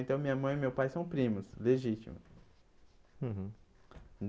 Então, minha mãe e meu pai são primos, legítimos. Uhum